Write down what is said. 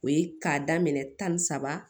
O ye k'a daminɛ tan ni saba